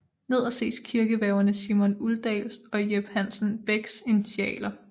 Nederst ses kirkeværgerne Simon Uldalls og Jep Hansen Becks initialer